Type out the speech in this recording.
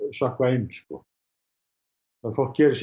sökkva inn að fólk geri sér